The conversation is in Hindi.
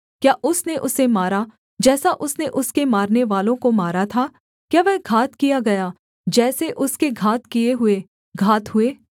क्या उसने उसे मारा जैसा उसने उसके मारनेवालों को मारा था क्या वह घात किया गया जैसे उसके घात किए हुए घात हुए